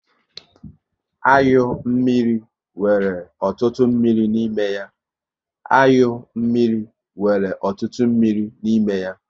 Anyụ mmiri nwere ọtụtụ mmiri n'ime ya